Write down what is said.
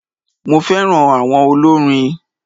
Mo féràn áwon olórin